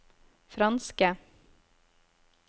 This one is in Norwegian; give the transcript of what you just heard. franske